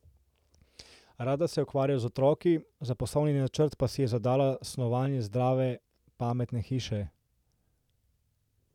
Rada se ukvarja z otroki, za poslovni načrt pa si je zadala snovanje zdrave pametne hiše.